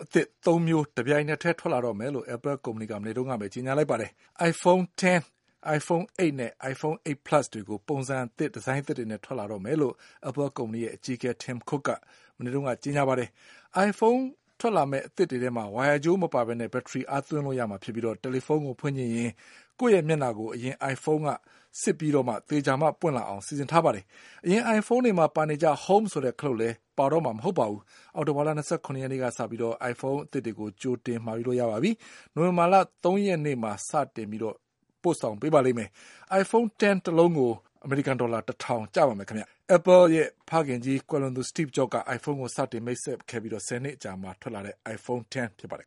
အသစ် သုံးမျိုး တပြိုင်ထဲ ထွက်လာတော့မယ်လို့ Apple ကုမ္ပဏီက မနေ့ကဘဲ ကြေညာလိုက်ပါတယ်။ Iphone X ၊iPhone 8 နဲ့ iPhone 8 plus တွေ ပုံစံအသစ်နဲ့ ထွက်လာမယ်လို့ Apple ကုမ္ပဏီရဲ့ အကြီးအကဲ Tim Cook က ကြေညာပါတယ်။ အိုင်ဖုန်း အသစ်တွေမှာ ဝိုင်ရာကြိုးမပါဘဲ ဘက်ထရီ အားသွင်းလို့ ရမှာ ဖြစ်ပြီး တယ်လီဖုန်းကို ဖွင့်ချင်ရင် ကိုယ့် မျက်နှာကို အရင ်အိုင်ဖုန်းက စစ်ပြီး သေချာမှ ပွင့်လာအောင် စီစဉ်ထားပါတယ်။ အရင် အိုင်ဖုန်းတွေ မှာပါနေကျ Home ဆိုတဲ့ ခလုပ် ပါမှာ မဟုတ်တော့ပါဘူး။ အောက်တိုဘာလ ၂၇ ရက်နေ့က စပြီး ကြိုတင်မှာယူလို့ ရပါပြီ။ နိုဝင်ဘာလ ၃ ရက်နေ့မှာ စပြီး ပို့ပေးပါလိမ့်မယ်။ iPhone X တလုံးကို ဒေါ်လာ ၁ ထောင် ကျပါမယ်။ Apple ရဲ့ ဖခင်ကြီး ကွယ်လွန်သူ Steve Jobs က အိုင်ဖုန်းကို စတင် မိတ်ဆက်ခဲ့ပြီး ၁၀ နှစ် အကြာမှာ ထွက်လာတဲ့ iPhone X ဖြစ်ပါတယ်